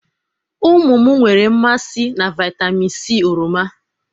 ụmụ m nwere mmasị na vitamin c oroma